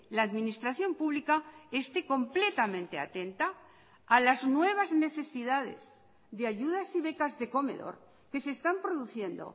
la administración pública esté completamente atenta a las nuevas necesidades de ayudas y becas de comedor que se están produciendo